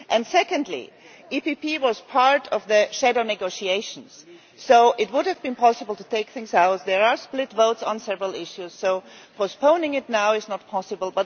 Secondly, the PPE was part of the shadow negotiations, so it would have been possible to take things out, there are split votes on several issues, so postponing it now is not possible.